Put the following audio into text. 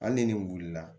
Hali ni nin wulila